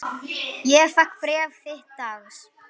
Ég fékk bréf þitt dags.